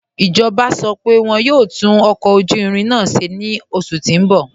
Ijọba sọ pé wọn yọ̀ò tún ọkọ ojú irin náà ṣẹ̀ ni oṣù tí n bọ̀.